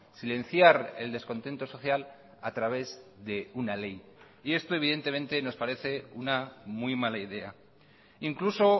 silenciar el descontento social a través de una ley y esto evidentemente nos parece una muy mala idea incluso